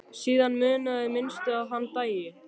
Síðan munaði minnstu að hann dæi.